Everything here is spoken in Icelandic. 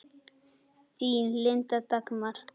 Þín, Linda Dagmar.